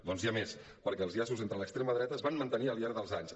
doncs n’hi ha més perquè els llaços entre l’extrema dreta es van mantenir al llarg dels anys